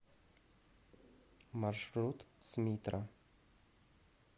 маршрут смитра